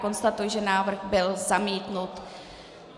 Konstatuji, že návrh byl zamítnut.